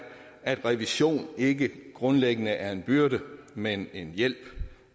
at revision ikke grundlæggende er en byrde men en hjælp